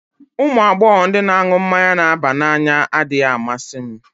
Ụmụ agbọghọ ndị na-aṅụ mmanya na-aba n'anya adịghị amasị m